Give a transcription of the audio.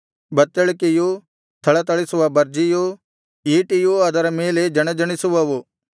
ಬತ್ತಳಿಕೆಯೂ ಥಳಥಳಿಸುವ ಭರ್ಜಿಯೂ ಈಟಿಯೂ ಅದರ ಮೇಲೆ ಜಣಜಣಿಸುವವು